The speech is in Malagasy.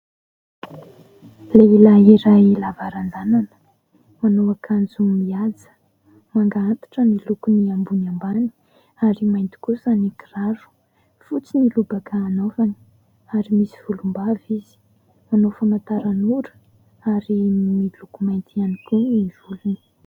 Lehilahy iray lava ranjanana, manao akanjo mihaja, manga antitra ny lokon'ny ambony ambany ary mainty kosa ny kiraro. Fotsy ny lobaka anaovany ary misy volombava izy. Manao famataranora ary miloko mainty ihany koa ny volony.